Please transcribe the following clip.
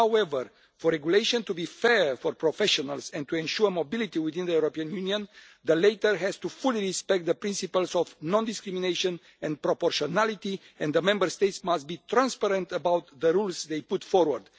However for a regulation to be fair for professionals and to ensure mobility within the European Union, the latter has to fully respect the principles of non discrimination and proportionality, and the Member States must be transparent about the rules they put forward.